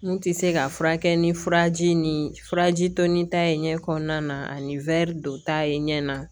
N tɛ se ka furakɛ ni furaji ni furaji to ni ta ye ɲɛ kɔnɔna na ani dɔ ta ye ɲɛ na